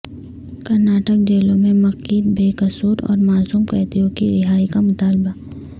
کرناٹک جیلوں میں مقید بے قصور اور معصوم قیدیوں کی رہائی کا مطالبہ